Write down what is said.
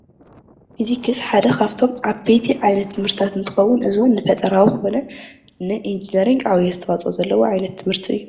ፊዚክስ ሓደ ካብቶም ዓበይቲ ዓይነት ትምህርቲ እንትኸዉን እዚ ዉን ን ፈጠራዊ ኮነ ንኢንጂነሪንግ ዓብዪ ኣስተዋፅኦ ዘለዎ ዓይነት ትምህርቲ እዪ ።